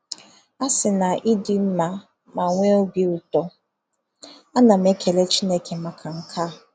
A sị na i dị mma ma nwee obi ụtọ, ana m ekele Chineke maka nke a.